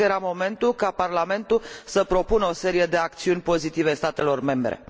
Cred că era momentul ca Parlamentul să propună o serie de acțiuni pozitive statelor membre.